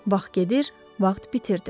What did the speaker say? Vaxt gedir, vaxt bitirdi.